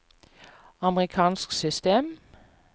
amerikansk system